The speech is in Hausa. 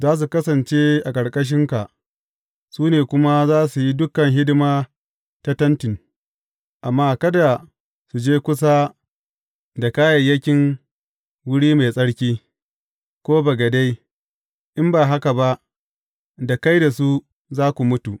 Za su kasance a ƙarƙashinka, su ne kuma za su yi dukan hidima ta Tenti, amma kada su je kusa da kayayyakin wuri mai tsarki, ko bagade, in ba haka ba, da kai da su, za ku mutu.